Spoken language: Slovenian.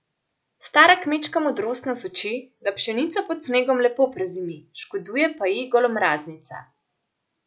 Stara kmečka modrost nas uči, da pšenica pod snegom lepo prezimi, škoduje pa ji golomraznica.